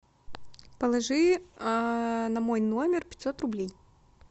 положи на мой номер пятьсот рублей